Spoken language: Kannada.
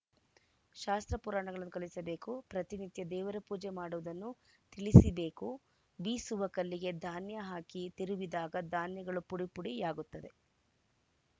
ಶಾಸ್ತ್ರ ಪುರಾಣಗಳನ್ನು ಕಲಿಸಬೇಕು ಪ್ರತಿನಿತ್ಯ ದೇವರ ಪೂಜೆ ಮಾಡುವುದನ್ನು ತಿಳಿಸಿಬೇಕು ಬೀಸುವ ಕಲ್ಲಿಗೆ ಧಾನ್ಯ ಹಾಕಿ ತಿರುವಿದಾಗ ಧಾನ್ಯಗಳು ಪುಡಿ ಪುಡಿಯಾಗುತ್ತದೆ